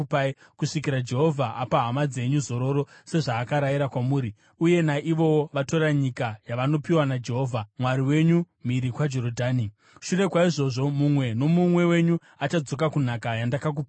kusvikira Jehovha apa hama dzenyu zororo sezvaakarayira kwamuri, uye naivowo vatora nyika yavanopiwa naJehovha Mwari wenyu mhiri kwaJorodhani. Shure kwaizvozvo mumwe nomumwe wenyu achadzoka kunhaka yandakakupai.”